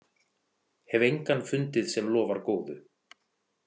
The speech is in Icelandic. Hef engan fundið sem lofar góðu.